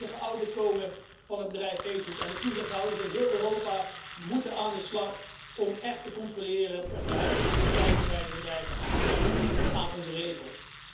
Er moet een volledige audit komen van het bedrijf Facebook en de toezichthouders in heel Europa moeten aan de slag om echt te controleren of de huidige praktijken bij het bedrijf voldoen aan onze regels.